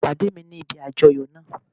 Pàdé mi ní ibi àjoyo náa